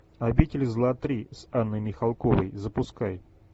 обитель зла три с анной михалковой запускай